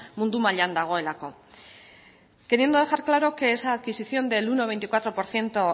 mundu mailan dagoelako queriendo dejar claro que esa adquisición del uno coma veinticuatro por ciento